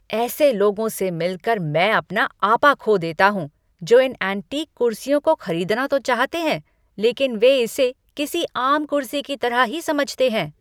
ऐसे लोगों से मिलकर मैं अपना आपा खो देता हूँ जो इन एंटीक कुर्सियों को खरीदना तो चाहते हैं, लेकिन वे इसे किसी आम कुर्सी की तरह ही समझते हैं।